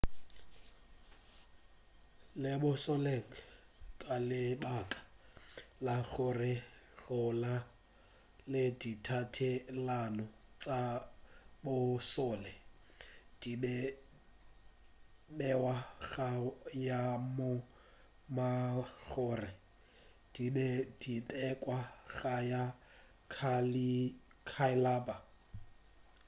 le bošoleng ka lebaka la gore go na le ditatelano tša bošole di beiwa go ya ka magoro di be di beiwa go ya ka cailaber